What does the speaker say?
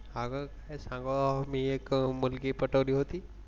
अगं काय सांगू मी एक मुलगी पटवली होती.